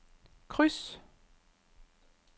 kryds